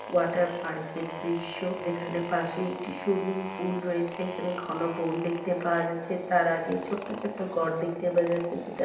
Water park -এর দৃশ্য যেখানে পাশেই একটি সুইমিং পুল রয়েছে। এখানে ঘন বন দেখতে পাওয়া যাচ্ছে তার আগেই ছোট্ট ছোট্ট ঘর দেখতে পাওয়া যাচ্ছে যেটা--